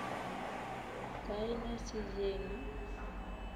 Kaine sichengee?